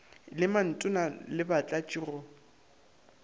le mantona le batlatši go